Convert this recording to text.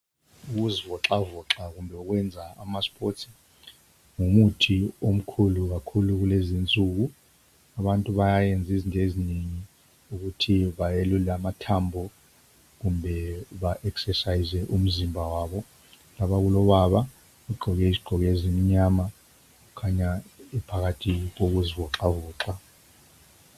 Ukuzivoxavoxa kumbe ukwenza amasports ngumuthi omkhulu kakhulu kulezi insuku. Abantu bayayenza izinto ezinengi ukuthi bayelule amathambo kumbe baesesayize umzimba wabo. Lapha kulababa ogqoke izigqoko ezimnyama ukhanya ephakathi kokuzivoxavoxa.